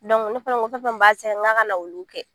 ne fana ko fɛn fen b'a tiɲɛn nka ka na olu kɛ.